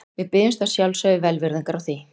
Við biðjumst að sjálfsögðu velvirðingar á því.